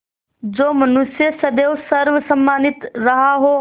जो मनुष्य सदैव सर्वसम्मानित रहा हो